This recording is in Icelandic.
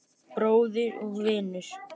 Bróðir og vinur.